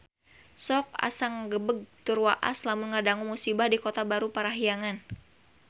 Sok asa ngagebeg tur waas lamun ngadangu musibah di Kota Baru Parahyangan